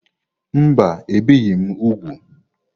Mba, ebìghị m úgwù.